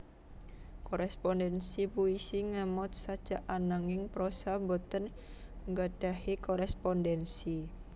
Korespondensi puisi ngemot sajak ananging prosa boten nggadhahi korespondensi